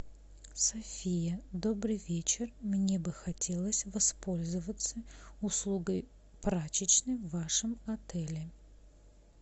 софия добрый вечер мне бы хотелось воспользоваться услугой прачечной в вашем отеле